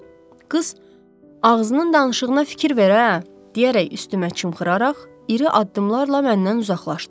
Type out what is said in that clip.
Qız: Ağzının danışığına fikir ver ə, deyərək üstümə çimxıraraq, iri addımlarla məndən uzaqlaşdı.